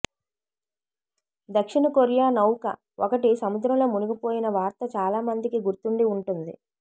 దక్షిణ కొరియా నౌక ఒకటి సముద్రంలో మునిగిపోయిన వార్త చాలా మందికి గుర్తుండి ఉంటుంది